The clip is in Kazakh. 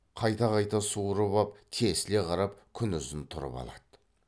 қайта қайта суырып ап тесіле қарап күнұзын тұрып алады